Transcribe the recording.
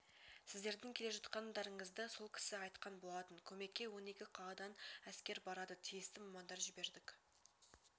сіздердің келе жатқандарыңызды сол кісі айтқан болатын көмекке он екі қаладан әскер барады тиісті мамандар жібердік